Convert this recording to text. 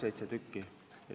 Kõik seitse inimest.